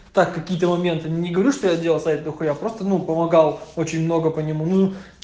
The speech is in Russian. так какие-то моменты не говорю что я делал сайтов дохуя просто ну помогал очень много по нему ну